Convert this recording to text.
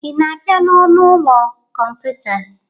Ị na-abịa n'ọnụ ụlọ kọmputa?